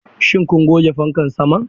Shin kun goge fankan saman?